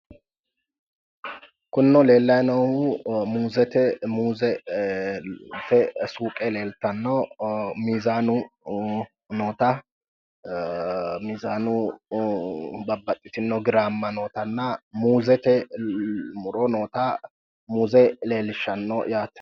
kunino leellanni noohu muuzete suuqe leeltanno miizaanu noota miizaanu babbaxitino giraamma nootanna muuzete muro noota muuze leellishshanno yaate.